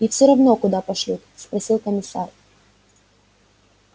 и всё равно куда пошлют спросил комиссар